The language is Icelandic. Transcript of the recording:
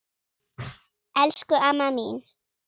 Elsku amma mín.